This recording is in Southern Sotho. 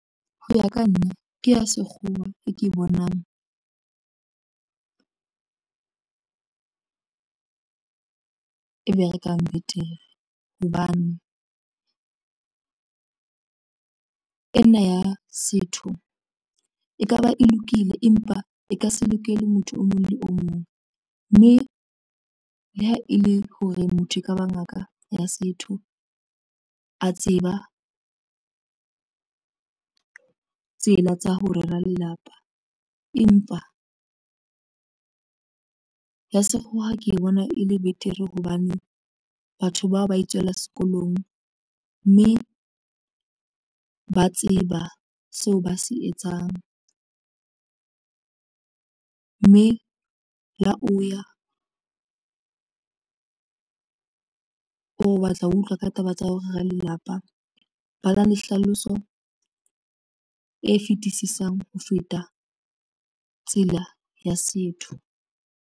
Ho ya ka nna ke ya sekgowa e ke bonang e be rekang betere hobane e ena ya setho, e kaba e lokile empa e ka se lokele motho o mong le o mong mme le ha e le hore motho ekaba ngaka ya setho a tseba tsela tsa ho rera lelapa, empa ya sekgowa ke e bona e le betere hobane batho bao ba itswela sekolong mme ba tseba seo ba se etsang mme le ha o ya o batla ho utlwa ka taba tsa ho rera lelapa ba na le hlaloso e fetisisang ho feta tsela ya setho.